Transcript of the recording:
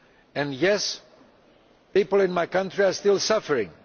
and, yes, people in my country are still suffering.